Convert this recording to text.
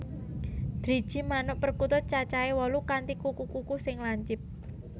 Driji manuk perkutut cacahé wolu kanthi kuku kuku sing lancip